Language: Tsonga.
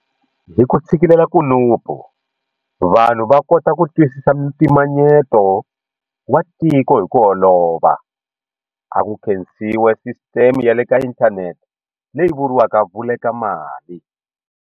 Hi ku tshikelela kunupu, vanhu va kota ku twisisa mpimanyeto wa tiko hi ku olova, a ku khensiwi sisiteme ya le ka inthanete leyi vuriwaka Vulekamali.